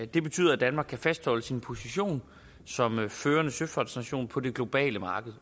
det betyder at danmark kan fastholde sin position som førende søfartsnation på det globale marked